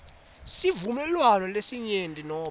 sivumelwano selinyenti nobe